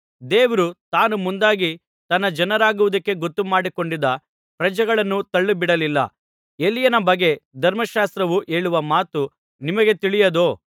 ದೇವರು ತಾನು ಮುಂದಾಗಿ ತನ್ನ ಜನರಾಗುವುದಕ್ಕೆ ಗೊತ್ತುಮಾಡಿಕೊಂಡಿದ್ದ ಪ್ರಜೆಗಳನ್ನು ತಳ್ಳಿಬಿಡಲಿಲ್ಲ ಎಲೀಯನ ಬಗ್ಗೆ ಧರ್ಮಶಾಸ್ತ್ರವು ಹೇಳುವ ಮಾತು ನಿಮಗೆ ತಿಳಿಯದೋ